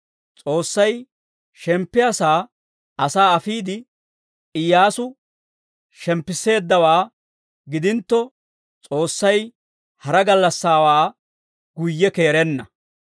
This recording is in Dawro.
S'oossay shemppiyaa sa'aa asaa afiide Iyyaasu shemppisseeddawaa gidintto, S'oossay hara gallassaawaa guyye keerenna.